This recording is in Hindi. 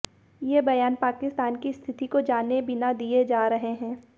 ये बयान पाकिस्तान की स्थिति को जाने बिना दिए जा रहे हैं